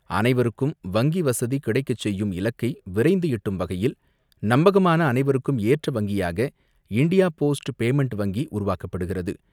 அனைவருக்கும் வங்கி வசதி கிடைக்கச் செய்யும் இலக்கை விரைந்து எட்டும் வகையில் நம்பகமான அனைவருக்கும் ஏற்ற வங்கியாக இண்டியா போஸ்ட் பேமெண்ட் வங்கி உருவாக்கப்படுகிறது.